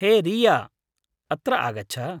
हे रीया, अत्र आगछ।